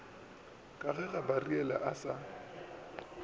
ke ge gabariele a sa